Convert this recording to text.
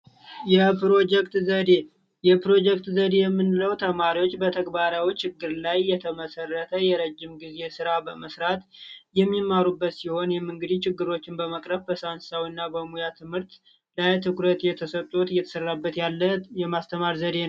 ፕሮጀክት ዘዴ የፕሮጀክት ዘዴ የምለው ተማሪዎች በተግባራዊው ችግር ላይ የተመሰረተ የረጅም ጊዜ ስራ በመስራት የሚማሩበት ሲሆን ችግሮችን በመቅረብ እና በሙያ ትምህርት ላይ ትኩረት የተሰጡት የተሰራበት ያለ የማስተማር ዘዴ ነው